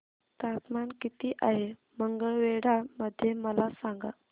तापमान किती आहे मंगळवेढा मध्ये मला सांगा